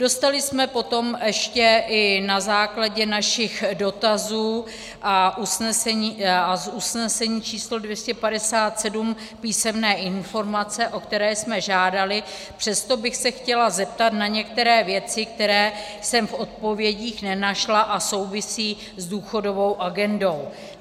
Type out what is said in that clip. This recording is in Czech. Dostali jsme potom ještě i na základě našich dotazů a z usnesení číslo 257 písemné informace, o které jsme žádali, přesto bych se chtěla zeptat na některé věci, které jsem v odpovědích nenašla a souvisí s důchodovou agendou.